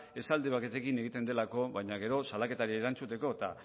esaldi batekin egiten delako baina gero salaketari erantzuteko eta